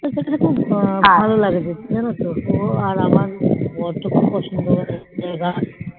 সেক্ষেত্রে থেকে খুব ভালো যেন তো ওর আর আমার বর কে খুব পছন্দ জায়গা